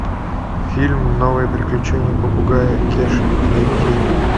фильм новые приключения попугая кеши найти